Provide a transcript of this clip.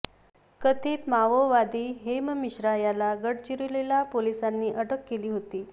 कथित माओवादी हेम मिश्रा याला गडचिरोली पोलिसांनी अटक केली होती